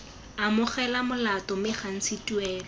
amogela molato mme gantsi tuelo